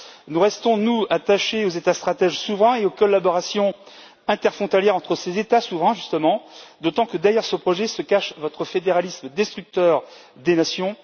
Nous restons, nous, attachés aux États stratèges souverains et aux collaborations interfrontalières entre ces États souverains, justement, d'autant que derrière ce projet se cache votre fédéralisme destructeur des nations.